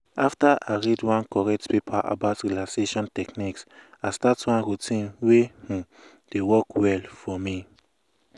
after i read one correct paper about relaxation techniques i start one routine wey um dey work well for me.